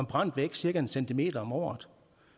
brændt væk cirka en cm om året